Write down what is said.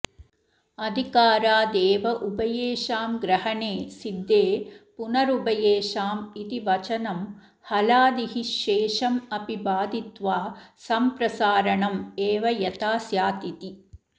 अधिकारादेव उभयेषां ग्रहणे सिद्धे पुनरुभयेषाम् इति वचनं हलादिः शेषम् अपि बाधित्वा सम्प्रसारणम् एव यथा स्यातिति